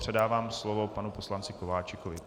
Předávám slovo panu poslanci Kováčikovi.